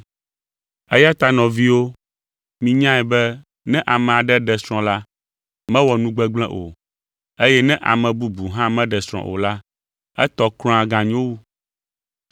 Eya ta nɔviwo, minyae be ne ame aɖe ɖe srɔ̃ la, mewɔ nu gbegblẽ o, eye ne ame bubu hã meɖe srɔ̃ o la, etɔ kura ganyo wu.